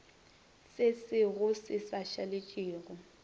sesego se sa šaletše go